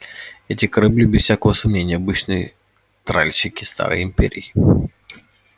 эти корабли без всякого сомнения обычные тральщики старой империи